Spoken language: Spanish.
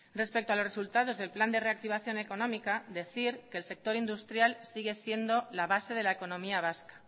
respecto a los resultados del plan de reactivación económica decir que el sector industrial sigue siendo la base de la economía vasca